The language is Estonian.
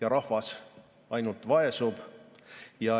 Aga rahvas ainult vaesub.